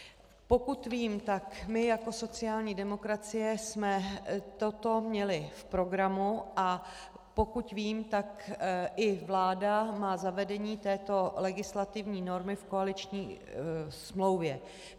Pokud vím, tak my jako sociální demokracie jsme toto měli v programu, a pokud vím, tak i vláda má zavedení této legislativní normy v koaliční smlouvě.